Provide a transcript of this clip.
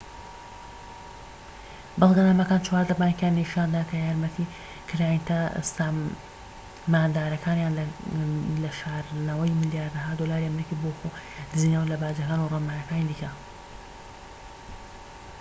بەڵگەنامەکان چواردە بانكیان نیشاندا کە یارمەتی کلایەنتە ساماندارەکانیاندا لە شاردنەوەی ملیارەها دۆلاری ئەمریکی بۆ خۆ دزینەوە لە باجەکان و ڕێنماییەکانی دیکە